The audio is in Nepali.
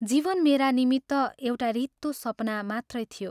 जीवन मेरा निमित्त एउटा रित्तो सपना मात्रै थियो।